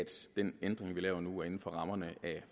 den ændring vi laver nu er inden for rammerne af